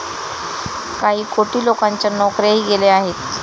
काही कोटी लोकांच्या नोकऱ्याही गेल्या आहेत.